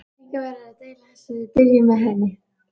Einhver verður að deila þessari byrði með henni.